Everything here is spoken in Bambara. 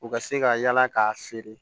U ka se ka yaala k'a feere